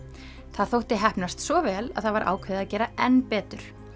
það þótti heppnast svo vel að það var ákveðið að gera enn betur